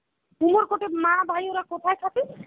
উমরকট এ মা ভাই ওরা কোথায় থাকে?